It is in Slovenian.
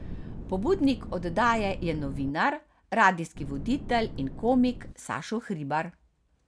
Pobudnik oddaje je novinar, radijski voditelj in komik Sašo Hribar.